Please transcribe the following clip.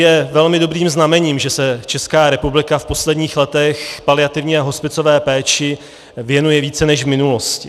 Je velmi dobrým znamením, že se Česká republika v posledních letech paliativní a hospicové péči věnuje více než v minulosti.